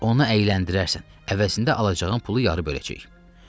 Onu əyləndirərsən, əvəzində alacağın pulu yarı böləcəyik.